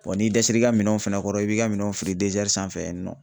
Wa n'i dɛsɛr'i ka minɛnw fɛnɛ kɔrɔ i b'i ka minɛnw fili sanfɛ yen nɔ.